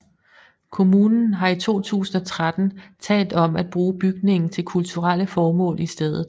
Kommunen har i 2013 talt om at bruge bygningen til kulturelle formål i stedet